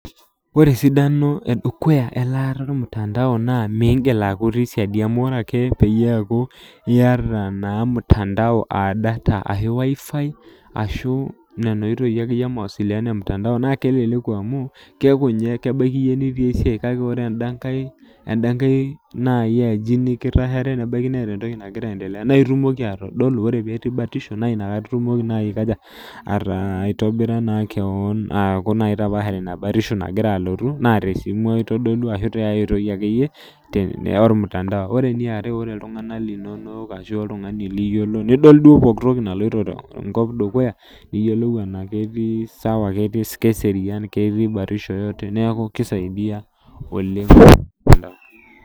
Ore esidano edukuya elaata ormtandao naa, migil aku itii siadi. Amu ore ake peyie eku iyata naa mtandao ah data ashu WiFi, ashu nena oitoi akeyie e mawasiliano emtandao naa keleleku amu, keeku nye kebaiki iyie nitii esiai kake ore enda nkae, enda nkae nai aji nikitashare, nebaiki neeta entoki nagira aiendelea, na itumoki atodolu ore petii batisho, na inakata itumoki nai aikaja, aitobira naa keon aku nai itapaashare ina batisho nagira alotu, naa tesimu itodolua ashu tiai oitoi akeyie, ormtandao. Ore eniare, ore iltung'anak linonok ashu ashu oltung'ani liyiolo, nidol duo pooki toki naloito tenkop dukuya, niyiolou enaa ketii sawa keserian, ketii batisho yoyote, neeku kisaidia oleng.